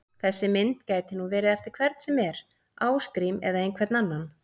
Þessi mynd gæti nú verið eftir hvern sem er, Ásgrím eða einhvern annan!